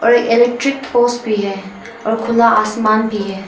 Electric pole भी है और खुला आसमान भी है।